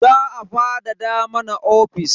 Za a fadada mana ofis.